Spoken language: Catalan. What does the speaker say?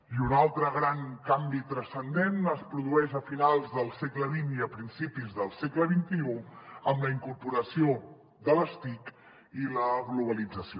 i un altre gran canvi transcendent es produeix a finals del segle xx i a principis del segle xxide les tic i la globalització